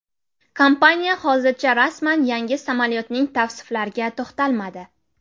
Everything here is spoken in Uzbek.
Kompaniya hozircha rasman yangi samolyotning tavsiflariga to‘xtalmadi.